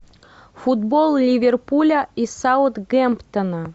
футбол ливерпуля и саутгемптона